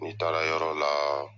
N'i taara yɔrɔ la